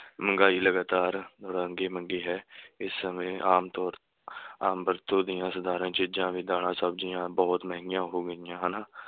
ਮਹਿੰਗਾਈ ਲਗਾਤਾਰ ਮੰਗੀ ਹੈ ਇਸ ਸਮੇਂ ਆਮ ਤੌਰ ਆਮ ਵਰਤੋਂ ਦੀਆਂ ਸਾਧਾਰਨ ਚੀਜਾਂ ਵੀ ਦਾਲਾਂ, ਸਬਜ਼ੀਆਂ ਬਹੁਤ ਮਹਿੰਗੀਆਂ ਹੋ ਗਈਆਂ ਹਨ।